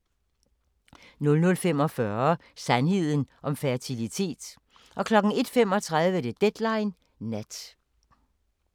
00:45: Sandheden om fertilitet 01:35: Deadline Nat